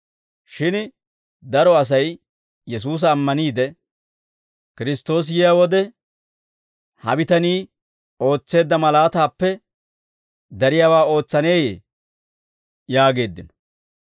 Shin daro Asay Yesuusa ammaniide, «Kiristtoosi yiyaa wode, ha bitanii ootseedda malaataappe dariyaawaa ootsaneeyee?» yaageeddino.